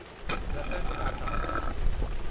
Ratan Tata